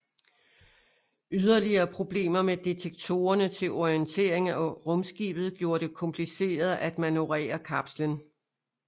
Yderligere problemer med detektorerne til orientering af rumskibet gjorde det kompliceret at manøvrere kapslen